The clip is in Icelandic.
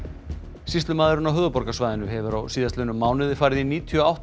sýslumaðurinn á höfuðborgarsvæðinu hefur á síðastliðnum mánuði farið í níutíu og átta